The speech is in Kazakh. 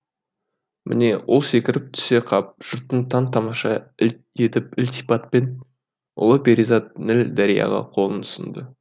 міне ол секіріп түсе қап жұртты таң тамаша етіп ілтипатпен ұлы перизат ніл дарияға қолын ұсынды